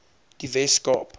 die wes kaap